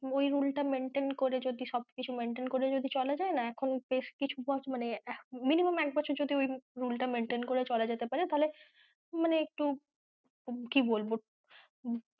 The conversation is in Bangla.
ওই rule টা maintain করে যদি সব maintain করে যদি চলা যায়না এখন বেশ কিছু বছর মানে minimum এক বছর যদি ওই rule টা maintain করে চলা যায় তাহলে মানে একটু কী বলবো,